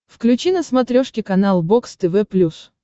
включи на смотрешке канал бокс тв плюс